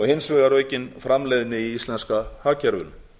hins vegar aukin framleiðni í íslenska hagkerfinu